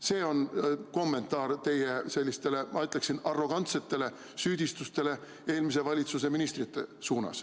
See on kommentaar teie sellistele, ma ütleksin, arrogantsetele süüdistustele eelmise valitsuse ministrite pihta.